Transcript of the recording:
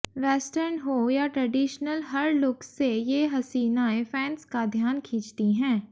western हो या traditional हर लुक से ये हसीनाएं फैंस का ध्यान खींचती हैं